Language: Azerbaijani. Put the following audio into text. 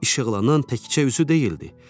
Işıqlanan təkcə üzü deyildi.